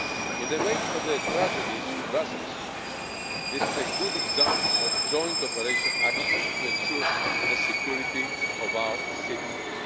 In the wake of the tragedies in Brussels, this is a good example of joint operational action to ensure the security of our citizens.